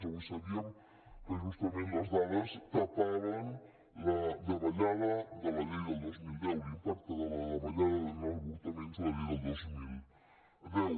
avui sabíem que justament les dades tapaven la davallada de la llei del dos mil deu l’impacte de la davallada en avortaments de la llei del dos mil deu